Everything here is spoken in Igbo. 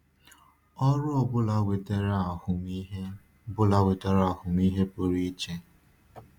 Ọrụ ọ bụla wetara ahụmịhe bụla wetara ahụmịhe pụrụ iche.